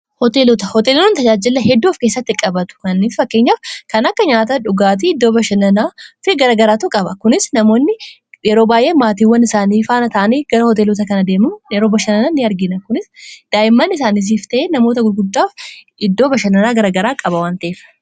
Hooteelota, hooteelonni tajaajila hedduu of keessatti qabatu. Kana akka fakkeenyaaf kan akka nyaata dhugaatii, iddoo bashannanaa garagaraatu qaba. Kunis namoonni yeroo baay'ee maatiiwwan isaanii faana ta'anii gara hooteelota kana deemuun yeroo bashannana in argina. Kunis daa'imman isaaniitiif ta'ee namoota gurguddaaf iddoo bashannanaa garagaraa qaba waan ta'eef.